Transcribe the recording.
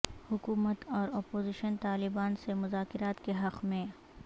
حکومت اور اپوزیشن طالبان سے مذاکرات کے حق میں